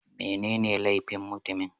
Menene laifin mutumin?